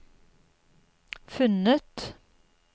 funnet